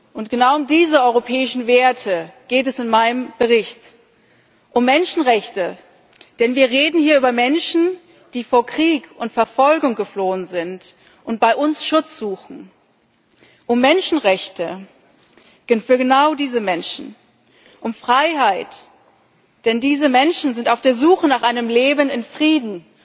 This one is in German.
Und genau um diese europäischen Werte geht es in meinem Bericht Um Menschenrechte, denn wir reden hier über Menschen, die vor Krieg und Verfolgung geflohen sind und bei uns Schutz suchen, um Menschenrechte für genau diese Menschen. Um Freiheit, denn diese Menschen sind auf der Suche nach einem Leben in Frieden